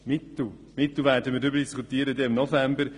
Es braucht einfach auch Mittel, wenn man den Kanton entwickeln will.